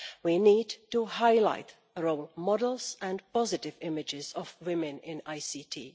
We need to highlight role models and positive images of women in ICT.